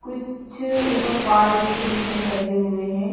कुछ ऊपर कार्ड जैसे दिख रहे लगे हुए हैं।